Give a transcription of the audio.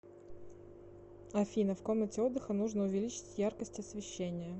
афина в комнате отдыха нужно увеличить яркость освещения